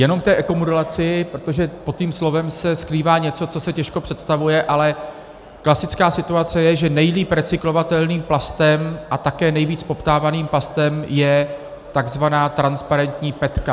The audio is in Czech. Jenom k té ekomodulaci, protože pod tím slovem se skrývá něco, co se těžko představuje, ale klasická situace je, že nejlíp recyklovatelným plastem, a také nejvíc poptávaným plastem je takzvaná transparentní petka.